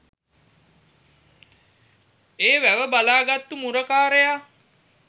ඒ වැව බලා ගත්තු මුරකාරයා